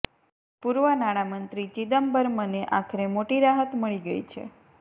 પૂર્વ નાણામંત્રી ચિદમ્બરમને આખરે મોટી રાહત મળી ગઇ છે